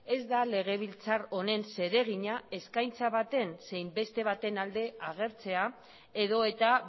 ez da legebiltzar honen zeregina eskaintza baten zein beste baten alde agertzea edota